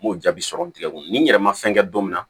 N m'o jaabi sɔrɔ n tigɛ kɔnɔ ni n yɛrɛ ma fɛn kɛ don min na